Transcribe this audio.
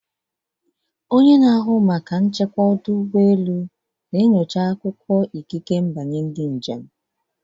Onye na-ahụ maka nchekwa ọdụ ụgbọ elu na-enyocha akwụkwọ ikike mbanye ndị njem.